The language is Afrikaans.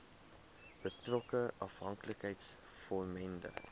betrokke afhanklikheids vormende